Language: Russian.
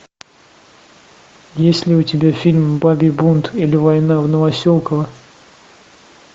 есть ли у тебя фильм бабий бунт или война в новоселково